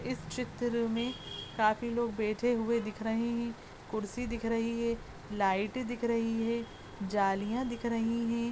इस चित्र मे काफी लोग बैठे हुए दिख रहे है कुर्सी दिख रही है लाइटें दिख रही है जालियाँ दिख रही है।